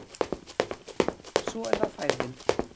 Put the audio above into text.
Svo er það færðin